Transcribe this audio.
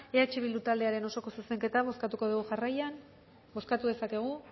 eh bildu taldearen osoko zuzenketa bozkatuko dugu jarraian bozkatu dezakegu